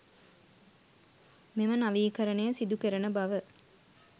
මෙම නවීකරණය සිදුකෙරෙන බව